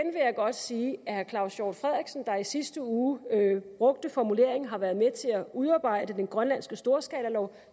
godt sige at herre claus hjort frederiksen der i sidste uge brugte formuleringen har været med til at udarbejde den grønlandske storskalalov